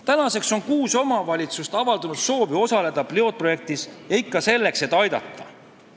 Tänaseks on kuus omavalitsust avaldanud soovi osaleda pilootprojektis ja ikka selleks, et aidata.